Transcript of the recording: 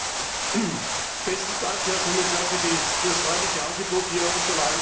Besten Dank, Herr Kommissar, für das freundliche Angebot, hier Unterlagen zu bekommen.